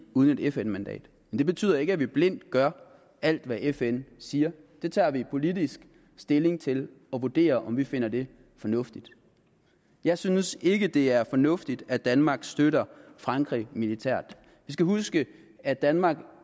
uden et fn mandat men det betyder ikke at vi blindt gør alt hvad fn siger vi tager politisk stilling til det og vurderer om vi finder det fornuftigt jeg synes ikke det er fornuftigt at danmark støtter frankrig militært vi skal huske at danmark